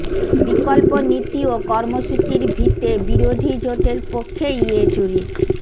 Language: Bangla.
বিকল্প নীতি ও কর্মসূচির ভিতে বিরোধী জোটের পক্ষে ইয়েচুরি